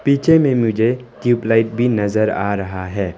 नीचे में मुझे ट्यूब लाइट भी नज़र आ रहा है।